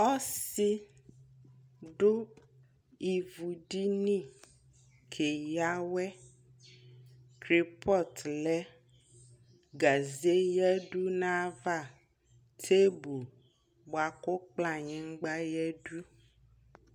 Ɔsi du ivu di ni kɛ ya wɛKolpɔt lɛ gaze ya du na ya avaTebol bua ku kploanyigba ya du